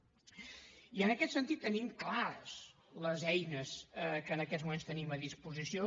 i en aquest sentit tenim clares les eines que en aquests moments tenim a disposició